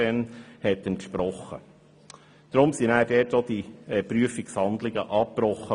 Deshalb wurden die Prüfungshandlungen an dieser Stelle auch abgebrochen.